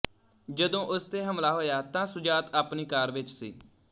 ਜਦੋਂ ਉਸ ਤੇ ਹਮਲਾ ਹੋਇਆ ਤਾਂ ਸੁਜਾਤ ਆਪਣੀ ਕਾਰ ਵਿੱਚ ਸੀ